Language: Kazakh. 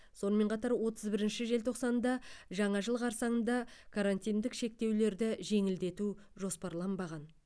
сонымен қатар отыз бірінші желтоқсанда жаңа жыл қарсаңында карантиндік шектеулерді жеңілдету жоспарланбаған